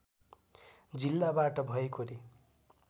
जिल्लाबाट भएकोले